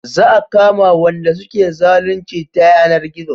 Za a kama Wanda suke zalunci ta yanar gizo